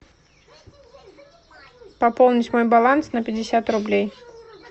пополнить мой баланс на пятьдесят рублей